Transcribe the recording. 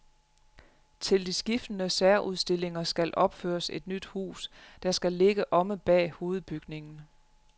Til de skiftende særudstillinger skal opføres et nyt hus, der skal ligge omme bag hovedbygningen.